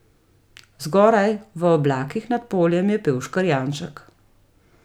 Zgoraj, v oblakih nad poljem, je pel škrjanček.